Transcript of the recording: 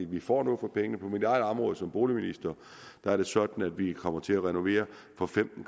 vi får noget for pengene på mit eget område som boligministeren er det sådan at vi kommer til at renovere for femten